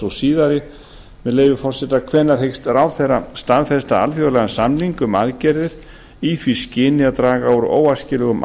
sú síðari með leyfi forseta annars hvenær hyggst ráðherra staðfesta alþjóðlegan samning um aðgerðir í því skyni að draga úr óæskilegum